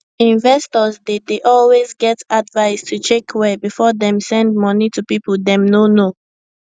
investors dey dey always get advice to check well before dem send money to people dem no know